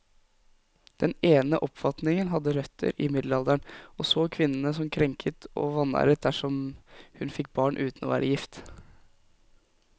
Den ene oppfatningen hadde røtter i middelalderen, og så kvinnen som krenket og vanæret dersom hun fikk barn uten å være gift.